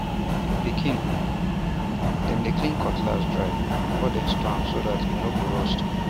pikin um dem dey clean cutlass dry before dem store am so dat e no go rust um